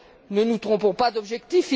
Ne nous trompons pas d'objectif.